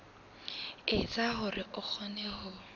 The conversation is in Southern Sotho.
etsa hore o kgone ho